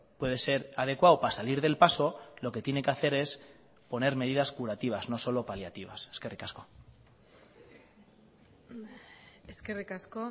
puede ser adecuado para salir del paso lo que tiene que hacer es poner medidas curativas no solo paliativas eskerrik asko eskerrik asko